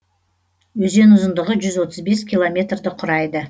өзен ұзындығы жүз отыз бес километрді құрайды